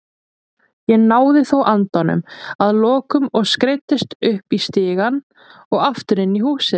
Ég náði þó andanum að lokum og skreiddist upp stigann og aftur inn í húsið.